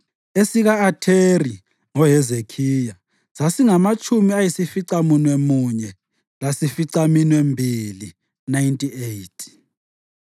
esika-Atheri (ngoHezekhiya) sasingamatshumi ayisificamunwemunye lasificaminwembili (98),